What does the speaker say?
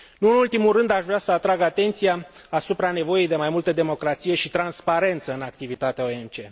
Nu în ultimul rând, aș vrea să atrag atenția asupra nevoii de mai multă democrație și transparență în activitatea OMC.